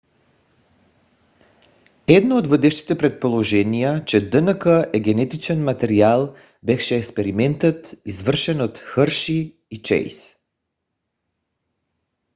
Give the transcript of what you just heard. едно от водещите предположения че днк е генетичен материал беше експериментът извършен от хърши и чейс